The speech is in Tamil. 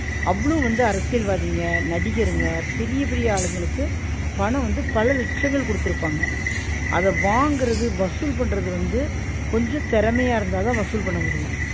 அவ்ளோம் வந்து அரசியல்வாதிங்க நடிகர்ங்க பெரிய பெரிய ஆளுங்களுக்கு பணம் வந்து பல லட்சங்கள் குடுத்திருப்பாங்க அத வாங்குறது வசூல் பண்றது வந்து கொஞ்சம் தெறமையா இருந்தா தா வசூல் பண்ண முடியும்